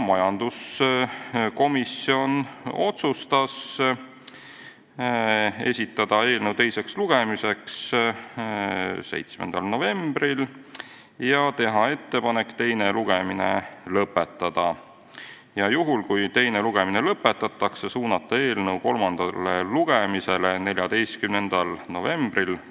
Majanduskomisjon otsustas esitada eelnõu teiseks lugemiseks 7. novembriks ja teha ettepanek teine lugemine lõpetada, ning juhul, kui teine lugemine lõpetatakse, suunata eelnõu kolmandale lugemisele k.a 14. novembriks.